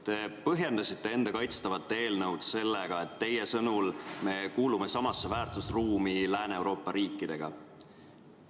Te põhjendasite enda kaitstavat eelnõu sellega, et me kuulume samasse väärtusruumi Lääne-Euroopa riikidega.